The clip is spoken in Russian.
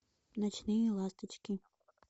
ночные ласточки